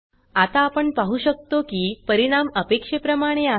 आता आपण पाहु शकतो की परिणाम अपेक्षेप्रमाणे आहे